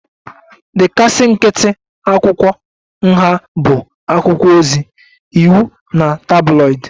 The kasị nkịtị akwụkwọ nha bụ akwụkwọ ozi, iwu na tabloid